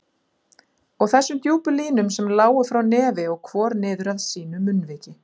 Og þessum djúpu línum sem lágu frá nefi og hvor niður að sínu munnviki.